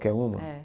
Qualquer uma? É